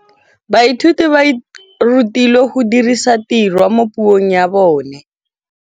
Baithuti ba rutilwe go dirisa tirwa mo puong ya bone.